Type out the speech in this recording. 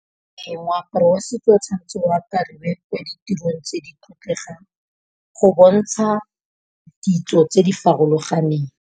Ee moaparo wa setso o tshwanetse wa apariwe ko ditirong tse di tlotlegang. Go bontsha ditso tse di farologaneng.